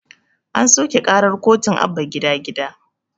An soƙe ƙarar kotun abba gida gida